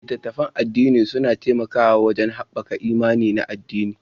Littattafan addini suna taimakawa wajen haɓaka imani na addini